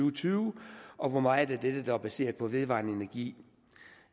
og tyve og hvor meget af dette der vil være baseret på vedvarende energi